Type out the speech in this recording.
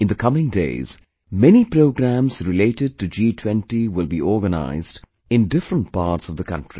In the coming days, many programs related to G20 will be organized in different parts of the country